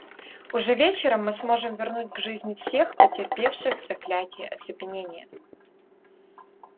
уже вечером мы сможем вернуть к жизни всех потерпевших заклятие оцепенения